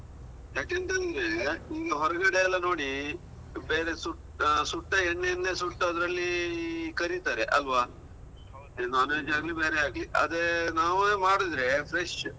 ಯಾಕೇಂತಂದ್ರೆ ಈಗ ಹೊರಗಡೆ ಎಲ್ಲ ನೋಡಿ ಬೇರೆ ಸುಟ್ ಸುಟ್ಟ ಎಣ್ಣೆ ಇಂದ್ಲೇ ಸುಟ್ಟದ್ರಲ್ಲಿ ಕರೀತಾರೆ ಅಲ್ವಾ? ಇದು non veg ಆಗ್ಲಿ, ಬೇರೆ ಆಗ್ಲಿ. ಅದೇ ನಾವೇ ಮಾಡಿದ್ರೆ fresh